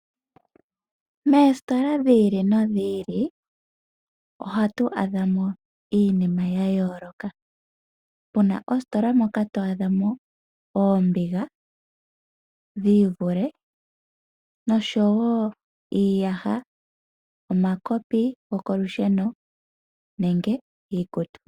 Moositola dhi ili nodhi ili ohatu adha mo iinima ya yooloka puna oositola moka to adha mo oombiga dhi ivule noshowo iiyaha omakopi gokolusheno nenge iikutu.